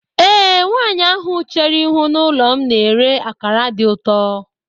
Ee, nwanyị ahụ chéré ihu n'ụlọ m na-èré akara dị ụtọ